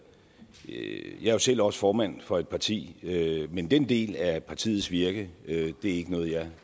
ikke jeg er jo selv også formand for et parti men den del af partiets virke er ikke noget jeg